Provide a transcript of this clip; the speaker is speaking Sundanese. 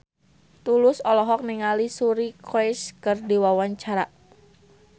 Tulus olohok ningali Suri Cruise keur diwawancara